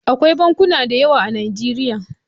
Akwai bankuna da yawa a Najeriya.